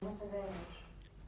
ну ты даешь